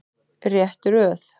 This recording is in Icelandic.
Rétt röð.